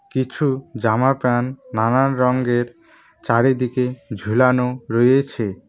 কিছু জামা প্যান নানান রঙ্গের চারিদিকে ঝুলানো রয়েছে।